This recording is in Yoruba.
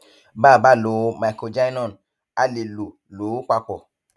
bá a bá lo microgynon a lè lò lò ó papọ